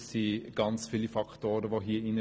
Es spielen sehr viele Faktoren hinein.